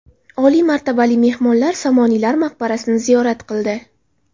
Oliy martabali mehmon Somoniylar maqbarasini ziyorat qildi.